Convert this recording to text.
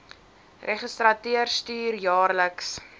registrateur stuur jaarliks